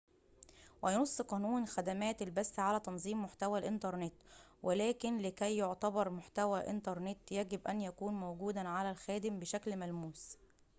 وينص قانون خدمات البث على تنظيم محتوى الإنترنت ولكن لكي يعتبر محتوى إنترنت يجب أن يكون موجوداً على الخادم بشكل ملموس